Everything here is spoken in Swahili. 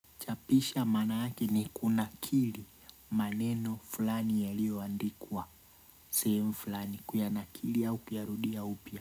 Pisha maana yake ni kunakili maneno fulani yaliyoandikwa sehemu fulani kuyanakili au kuyarudia upya.